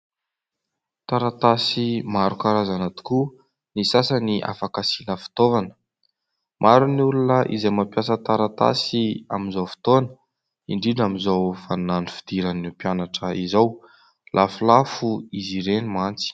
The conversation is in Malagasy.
Taratasy maro karazana tokoa, ny sasany afaka asina fitaovana. Maro ny olona izay mampiasa taratasy amin'izao fotoana, indrindra amin'izao vaninandro fidiran'ny mpianatra izao ; lafolafo izy ireny mantsy.